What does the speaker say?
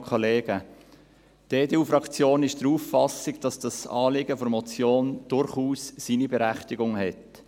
Die EDU-Fraktion ist der Auffassung, dass das Anliegen der Motion durchaus seine Berechtigung hat.